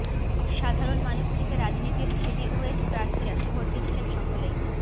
সাধারণ মানুষ থেকে রাজনীতির হেভিওয়েট প্রার্থীরা ভোট দিচ্ছেন সকলেই